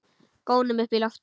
Gónum upp í loftið.